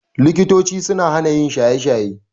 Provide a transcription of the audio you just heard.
Likitochi suna hana yin shaye-shaye.